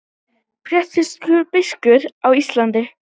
Prédikun biskups Íslands